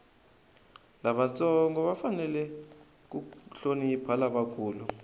lavantsongo va fanele ku hlonipha lavakulu